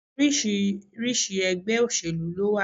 Oríṣiríṣi egbé òsèlú ló wa